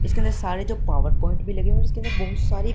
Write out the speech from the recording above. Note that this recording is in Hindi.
इसके अंदर सारे जो पावर पॉइंट भी लगे हुए हैं और इसके अंदर बहुत सारी--